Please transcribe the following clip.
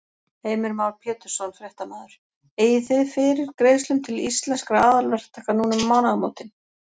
Heimir Már Pétursson, fréttamaður: Eigið þið fyrir greiðslum til Íslenskra aðalverktaka núna um mánaðamótin?